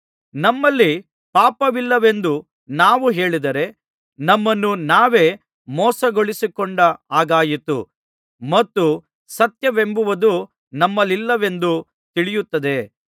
ನಮ್ಮಲ್ಲಿ ಪಾಪವಿಲ್ಲವೆಂದು ನಾವು ಹೇಳಿದರೆ ನಮ್ಮನ್ನು ನಾವೇ ಮೋಸಗೊಳಿಸಿಕೊಂಡ ಹಾಗಾಯಿತು ಮತ್ತು ಸತ್ಯವೆಂಬುದು ನಮ್ಮಲ್ಲಿಲ್ಲವೆಂದು ತಿಳಿಯುತ್ತದೆ